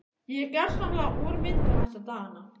Ég er gersamlega úrvinda þessa dagana.